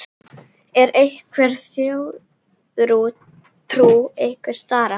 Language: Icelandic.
Er einhver þjóðtrú tengd stara?